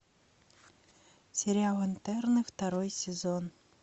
сериал интерны второй сезон